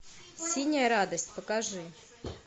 синяя радость покажи